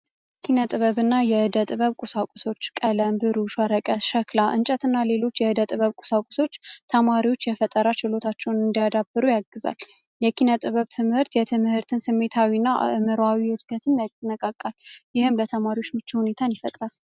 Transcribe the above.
የኪነ-ጥበብ እና የህደ ጥበብ ቁሳቁሶች ቀለም ብሩሸ ወረቀት ሸክላ እንጨት እና ሌሎች የህደ ጥበብ ቁሳቁሶች ተማሪዎች የፈጠራ ችሎታቸውን እንዲያዳበሩ ያግዛል። የኪነ ጥበብ ትምህርት የትምህርትን ስሜታዊ እና ምሮዊ ውድገትም ያነቃቃል። ይህም ለተማሪዎች ምች ሁኔታን ይፈጥራል።